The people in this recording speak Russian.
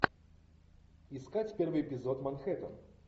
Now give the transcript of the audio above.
искать первый эпизод манхэттен